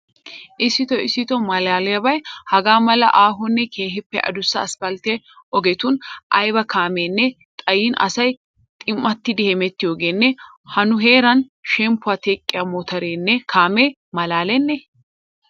Issitoo issitoo maalaliyaabay hagaa mala aahonne keehiippe adussa aspalte ogetun aybba kaameenne xayin asay xim'attidi hemettiyogeenne ha nu heeraan shemppuwa teqqiya motoreenne kaamee maalalenne?